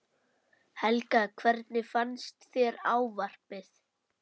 Helga: Hvernig fannst þér ávarpið?